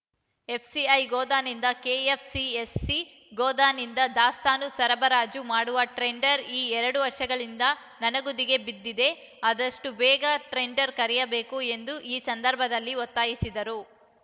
FCI ಗೋದಾನಿಂದ KFCSC ಗೋದಾಮಿಗೆ ದಾಸ್ತಾನು ಸರಬರಾಜು ಮಾಡುವ ಟ್ರೆಂಡರ್ ಎರಡು ವರ್ಷಗಳಿಂದಲೂ ನನೆಗುದಿಗೆ ಬಿದ್ದಿದೆ ಆದಷ್ಟುಬೇಗ ಟ್ರೆಂಡರ್ ಕರೆಯಬೇಕು ಎಂದು ಈ ಸಂದರ್ಭದಲ್ಲಿ ಒತ್ತಾಯಿಸಿದರು